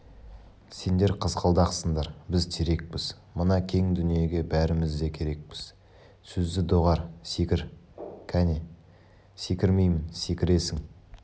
сендер қызғалдақсыңдар біз терекпіз мына кең дүниеге бәріміз де керекпіз сөзді доғар секір кәне секірмеймін секіресің